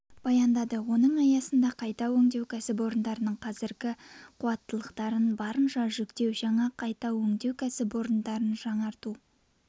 баяндады оның аясында қайтау өңдеу кәсіпорындарының қазіргі қуаттылықтарын барынша жүктеу жаңа қайта өңдеу кәсіпорындарын жаңғырту